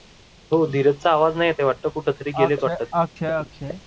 हो धीरजचा आवाज नाही येत आहे कुठ तरि गेलेथ वाटत.